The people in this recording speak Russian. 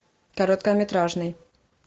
короткометражный